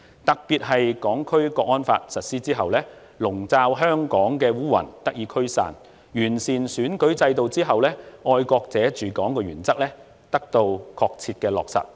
特別是《香港國安法》實施後，籠罩香港的烏雲得以驅散；完善選舉制度後，"愛國者治港"的原則得到確切的落實。